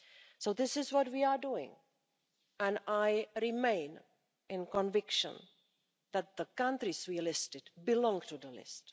So this is what we are doing, and I remain convinced that the countries we listed belong to the list.